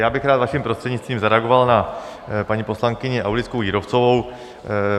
Já bych rád vaším prostřednictvím zareagoval na paní poslankyni Aulickou Jírovcovou.